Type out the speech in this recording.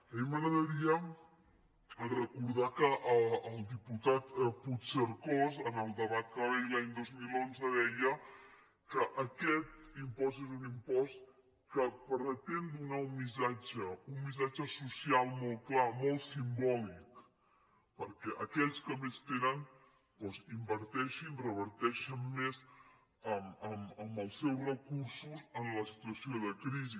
a mi m’agradaria recordar que el diputat puigcercós en el debat que va haver hi l’any dos mil onze deia que aquest impost és un impost que pretén donar un missatge social molt clar molt simbòlic perquè aquells que més tenen doncs inverteixin reverteixin més amb els seus recursos en la situació de crisi